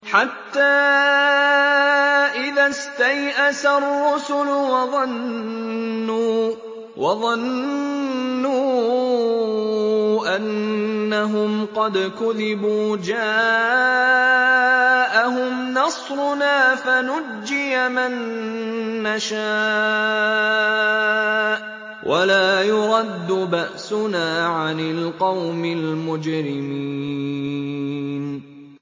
حَتَّىٰ إِذَا اسْتَيْأَسَ الرُّسُلُ وَظَنُّوا أَنَّهُمْ قَدْ كُذِبُوا جَاءَهُمْ نَصْرُنَا فَنُجِّيَ مَن نَّشَاءُ ۖ وَلَا يُرَدُّ بَأْسُنَا عَنِ الْقَوْمِ الْمُجْرِمِينَ